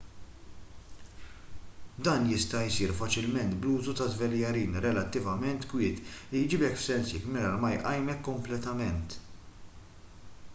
dan jista' jsir faċilment bl-użu ta' żveljarin relattivament kwiet li jġibek f'sensik mingħajr ma jqajmek kompletament